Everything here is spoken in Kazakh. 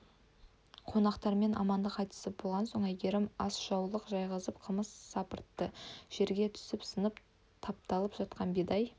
қонақтармен амандық айтысып болған соң әйгерім асжаулық жайғызып қымыз сапыртты жерге түсіп сынып тапталып жатқан бидай